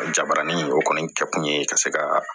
Jabarani o kɔni kɛ kun ye ka se ka